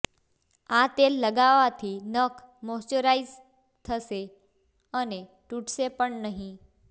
આ તેલ લગાવવાથી નખ મોઇશ્ચરાઇજ થશે અને તૂટશે પણ નહીં